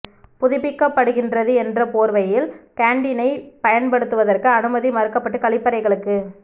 புதுப்பிக்கப்படுகின்றது என்ற போர்வையில் கேண்டீனைப் பயன்படுத்துவதற்கு அனுமதி மறுக்கப்பட்டு கழிப்பறைகளுக்கு